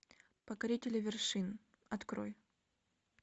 покорители вершин открой